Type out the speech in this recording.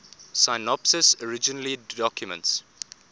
synopses originally documents